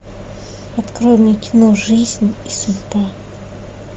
открой мне кино жизнь и судьба